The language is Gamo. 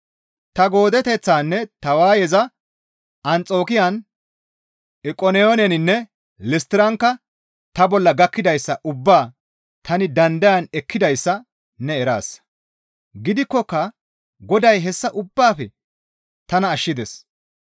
Ta goodeteththaanne ta waayeza Anxokiyan, Iqoniyooninne Listtirankka ta bolla gakkidayssa ubbaa tani dandayan ekkidayssa ne eraasa; gidikkoka Goday hessa ubbaafe tana ashshides.